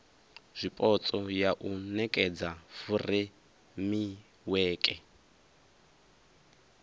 zwipotso ya u nekedza furemiweke